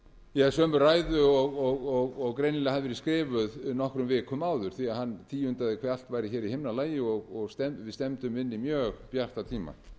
flytja ja sömu ræðu og greinilega hafði verið skrifuð nokkrum vikum áður því að hann tíundaði hve allt væri hér í himnalagi og við stefndum inn í mjög bjarta tíma